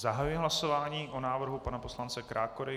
Zahajuji hlasování o návrhu pana poslance Krákory.